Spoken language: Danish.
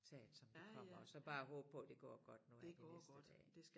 Tage det som det kommer og så bare håbe på det går godt nu her de næste dage